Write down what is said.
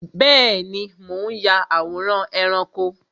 Bẹẹni, mo ń ya àwòrán ẹranko